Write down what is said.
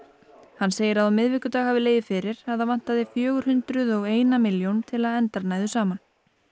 hann segir að á miðvikudag hafi legið fyrir að það vantaði fjögur hundruð og eina milljón til að endar næðu saman